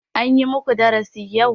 An yi muku darashi yau?